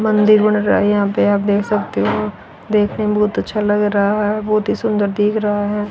मंदिर बन रहा है यहां पे आप देख सकते हो देखने में बहुत अच्छा लग रहा है बहुत ही सुंदर दिख रहा हैं।